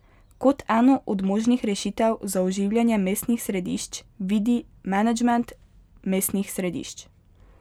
Kot eno od možnih rešitev za oživljanje mestnih središč vidi menedžment mestnih središč.